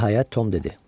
Nəhayət Tom dedi.